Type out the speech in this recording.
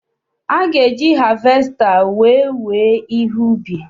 A ga-eji havesta wèè wéé ihe ubi.